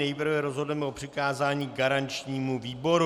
Nejprve rozhodneme o přikázání garančnímu výboru.